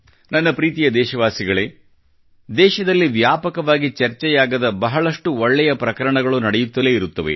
ನನ್ನ ಪ್ರೀತಿಯ ದೇಶವಾಸಿಗಳೇ ದೇಶದಲ್ಲಿ ವ್ಯಾಪಕವಾಗಿ ಚರ್ಚೆಯಾಗದ ಬಹಳಷ್ಟು ಒಳ್ಳೆಯ ಪ್ರಕರಣಗಳು ನಡೆಯುತ್ತಲೇ ಇರುತ್ತವೆ